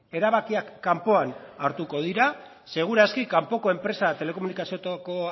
erabakiak kanpoan hartuko dira segur aski kanpoko enpresak telekomunikazio